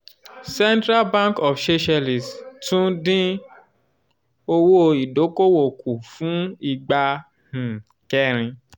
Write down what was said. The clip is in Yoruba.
central bank of seychelles tún um dín owó ìdókòwò kù fún ìgbà um kẹrin